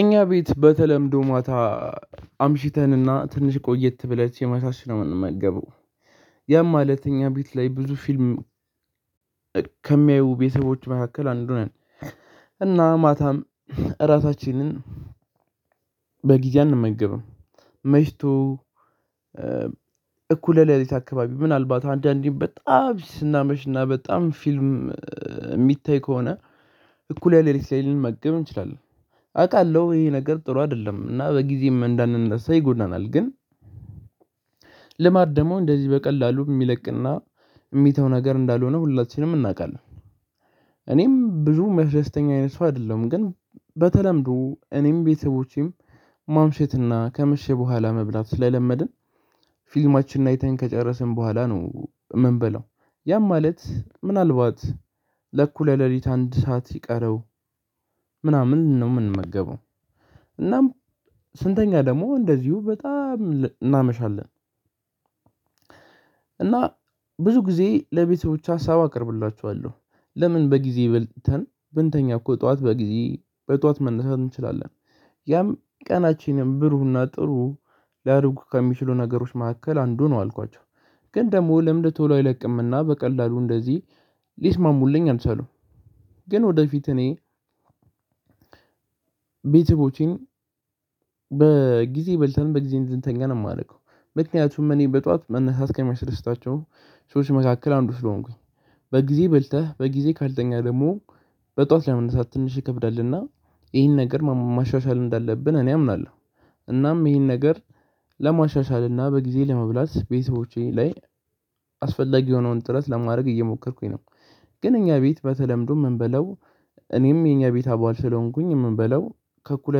እኛ ቤት በተለምዶ ማታ አምሽተንና ትንሽ ቆየት ብለን ሲመሻሽ ነው የምንመገበው። ያም ማለት ቤት ላይ ብዙ ፊልም ከሚያዩ ቤተሰቦች መካከል አንዱ ነን። እና ማታም እራታችንን በጊዜ አንመገብም መሽቱ እኩለ ሌሊት አካባቢ ምናልባት አንዳንዴ በጣም ስናመሽና በጣም ፊልም የሚታይ ከሆነ እኩለ ሌሊት ላይ ልንመገብ እንችላለን። አውቃለሁ ይሄ ነገር ጥሩ አይደለም እና በጊዜም እንዳንነሳ ይጎዳናል ግን ልማድ ደግሞ እንደዚህ በቀላሉ የሚለቅና የሚተው ነገር እንዳልሆነ ሁላችንም እናውቃለን። እኔም ብዙ ሚያስደስተኝ አይነት ሰው አይደለሁም። ግን በተለምዶ እኔም ቤተሰቦቼም ማምሸትና ከመሽ በኋላ መብላት ስለለመድን ፊልማችንን አይተን ከጨረስን በኋላ ነው የምንበለው። ያም ማለት ምናልባት ለእኩለ ሌሊት አንድ ሰዓት ይቀረው ምናምን ነው የምንመገበው እናም ስንተኛ ደግሞ እንደዚሁ በጣም እናመሻለን። እና ብዙ ጊዜ ለቤተሰቦቼ ሀሳብ አቀርብላችኋለሁ ለምን በጊዜ በልተን ብንተኛ እኮ ጠዋት በጊዜ በጠዋት መነሳት እንችላለን። ያም ቀናችንን ብሩህና ጥሩ ሊያደርጉ ከሚችሉ ነገሮች መካከል አንዱ ነው አልኳቸው። ግን ደግሞ ለምድ ቶሎ አይለቅምና በቀላሉ እንደዚህ ሊስማሙልኝ አልቻሉም። ግን ወደፊት እኔ ቤተቦቼን በጊዜ በልተን በጊዜ እንድንተኛ ነው የማደርገው። ምክንያቱም እኔ በጧት መነሳት ከሚያስደስታቸው ሰዎች መካከል አንዱ ስለሆንኩኝ። በጊዜ በልተህ በጊዜ ካልተኛ ደግሞ በጠዋት ለመነሳት ትንሽ ይከብዳልና ይህን ነገር ማሻሻል እንዳለብን እኔ አምናለሁ። እናም ይህን ነገር ለማሻሻል እና በጊዜ ለመብላት ቤተሰቦቼ ላይ አስፈላጊ የሆነውን ጥረት ለማድረግ እየሞከርኩኝ ነው። ግን እኛ ቤት በተለምዶ ምን በላው እኔም የኛ ቤት አባል ስለሆንኩኝ ምን በላው ከእኩለ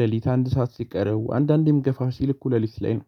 ሌሊት አንድ ሰዓት ሲቀረው አንዳንዴም ገፋ ሲል እኩለ ሌሊት ላይ ነው።